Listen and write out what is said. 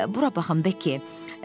Bura baxın Bekki,